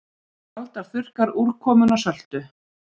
Alda þurrkar úrkomuna söltu